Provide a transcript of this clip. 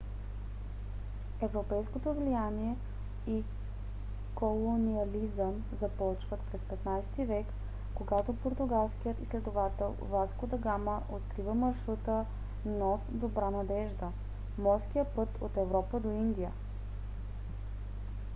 европейското влияние и колониализъм започват през 15 - ти век когато португалският изследовател васко да гама открива маршрута нос добра надежда . морския път от европа до индия